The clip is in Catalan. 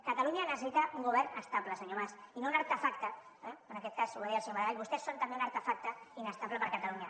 catalunya necessita un govern estable senyor mas i no un artefacte eh en aquest cas ho va dir el senyor maragall vostès són també un artefacte inestable per a catalunya